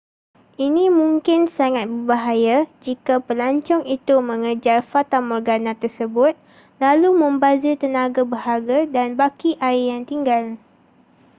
ini mungkin sangat berbahaya jika pelancong itu mengejar fatamorgana tersebut lalu membazir tenaga berharga dan baki air yang tinggal